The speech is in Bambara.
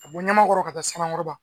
ka bɔ ɲamamakɔrɔ ka taa sanankɔrɔba